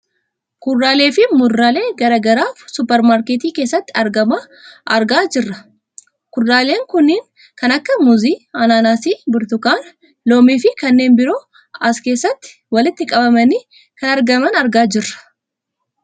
Kuduraalee fi muduraalee gara garaa suuper maarkettii keessatti argama argaa jirra kudaaleen kanneen kan akka muuzii, ananaasii, burtukaana, loomii fi kanneen biroo as keessatti walitti qabamanii kan argaman argaa jirra.